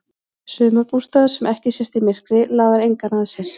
Sumarbústaður sem ekki sést í myrkri laðar engan að sér.